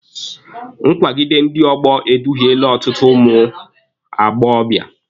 Nkwagide ndị ọgbọ eduhiele ọtụtụ ụmụ agbọbịa.